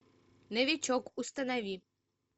новичок установи